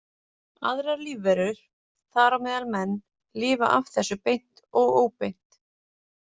Aðrar lífverur, þar á meðal menn, lifa af þessu beint og óbeint.